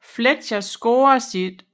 Fletcher scorede sit